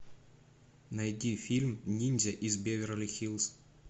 найди фильм ниндзя из беверли хиллз